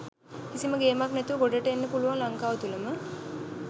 කිසිම ගේමක් නැතිව ගොඩ එන්න පුළුවන් ලංකාව තුලම.